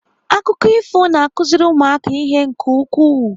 Akụkọ ifo na-akụziri ụmụaka ihe nke ukwuu.